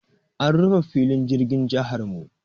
An rufe filin jirgin jihar mu.